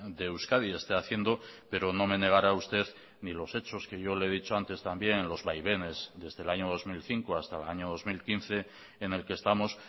de euskadi esté haciendo pero no me negará usted ni los hechos que yo le he dicho antes también los vaivenes desde el año dos mil cinco hasta el año dos mil quince en el que estamos